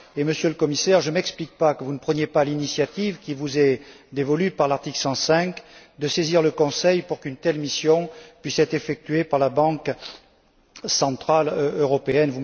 Par ailleurs, Monsieur le Commissaire, je ne m'explique pas que vous ne preniez pas l'initiative qui vous est dévolue par l'article 105 de saisir le Conseil pour qu'une telle mission puisse être effectuée par la Banque centrale européenne.